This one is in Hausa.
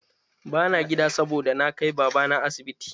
Ba na gida saboda na kai babana asibiti.